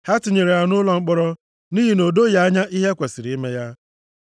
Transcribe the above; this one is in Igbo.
Ha tinyere ya nʼụlọ mkpọrọ nʼihi na o doghị anya ihe e kwesiri ime ya.